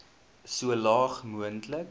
so laag moontlik